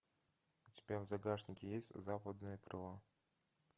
у тебя в загашнике есть западное крыло